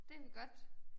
Det kan vi godt